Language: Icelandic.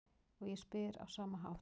Og ég spyr á sama hátt: